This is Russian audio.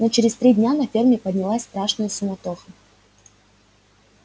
но через три дня на ферме поднялась страшная суматоха